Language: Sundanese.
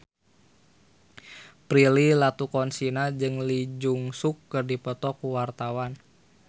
Prilly Latuconsina jeung Lee Jeong Suk keur dipoto ku wartawan